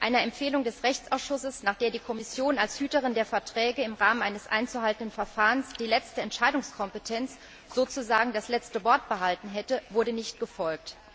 Einer Empfehlung des Rechtsausschusses, nach der die Kommission als Hüterin der Verträge im Rahmen eines einzuhaltenden Verfahrens die letzte Entscheidungskompetenz, sozusagen das letzte Wort behalten hätte, wurde nicht gefolgt.